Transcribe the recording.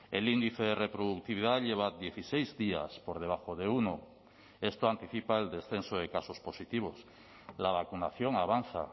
el índice de reproductividad lleva dieciséis días por debajo de uno esto anticipa el descenso de casos positivos la vacunación avanza